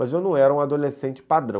Mas eu não era um adolescente padrão.